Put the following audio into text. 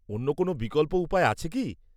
অন্য কোনও বিকল্প উপায় আছে কি?